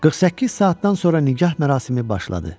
48 saatdan sonra nigah mərasimi başladı.